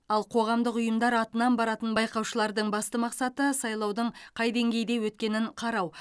ал қоғамдық ұйымдар атынан баратын байқаушылардың басты мақсаты сайлаудың қай деңгейде өткенін қарау